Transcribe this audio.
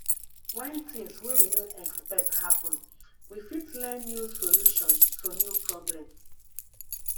when things wey we no expect happen we fit learn new solution to new problem